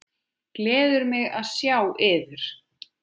Gleður mig að sjá yður.